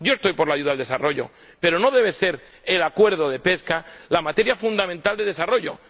Yo estoy por la ayuda al desarrollo, pero no debe ser el Acuerdo de pesca la materia fundamental de desarrollo.